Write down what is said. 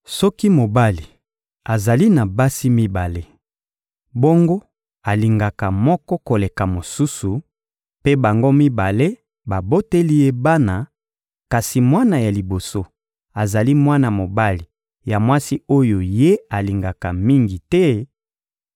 Soki mobali azali na basi mibale, bongo alingaka moko koleka mosusu, mpe bango mibale baboteli ye bana, kasi mwana ya liboso azali mwana mobali ya mwasi oyo ye alingaka mingi te;